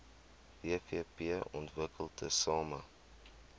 wvp ontwikkel tesame